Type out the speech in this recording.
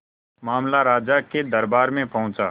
मामला राजा के दरबार में पहुंचा